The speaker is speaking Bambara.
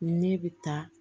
Ne bɛ taa